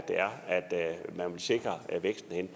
man vil sikre væksten